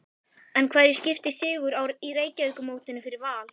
En hverju skiptir sigur í Reykjavíkurmótinu fyrir Val?